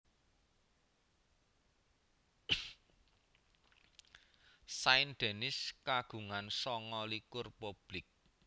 Saint Denis kagungan sanga likur publik